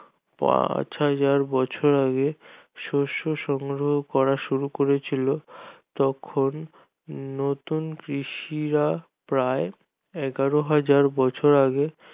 পাঁচ হাজার বছর আগে শস্য সংগ্রহ করা শুরু করেছিল তখন নতুন কৃষিরা প্রায় এগারো হাজার বছর আগে